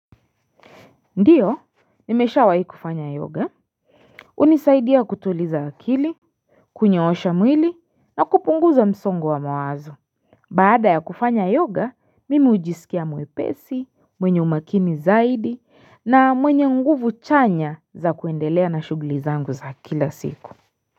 Ndio, mimeshawahi kufanya yoga, hunisaidia kutuliza akili, kunyoosha mwili, na kupunguza msongo wa mawazo. Baada ya kufanya yoga, mimi hujisikia mwepesi, mwenye umakini zaidi, na mwenye nguvu chanya za kuendelea na shughuli zangu za kila siku.